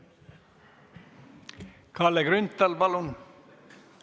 Kalle Grünthal, palun!